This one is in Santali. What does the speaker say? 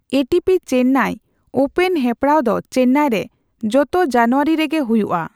ᱮᱴᱤᱯᱤ ᱪᱮᱱᱱᱟᱭ ᱳᱯᱮᱱ ᱦᱮᱯᱲᱟᱣ ᱫᱚ ᱪᱮᱱᱱᱟᱭ ᱨᱮ ᱡᱚᱛᱚ ᱡᱟᱱᱩᱣᱟᱹᱨᱤ ᱨᱮᱜᱮ ᱦᱩᱭᱩᱜᱼᱟ ᱾